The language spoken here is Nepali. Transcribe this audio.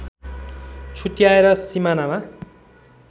छुट्याएर सिमानामा